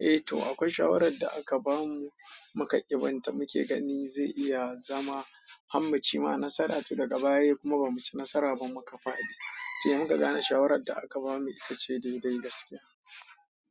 Eh toh, akwai shawarar da aka bamu muka ƙi binta muke ganin zai iya zama, har mu cimma nasara toh daga baya kuma ba muci nasara ba muka faɗi. Se muka gane shawarar da aka bamu ita ce dai-dai gaskiya.